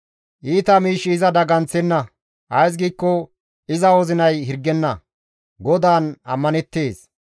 Iita miishshi iza daganththenna; ays giikko iza wozinay hirgenna; GODAAN ammaneettes.